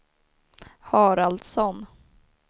Haraldsson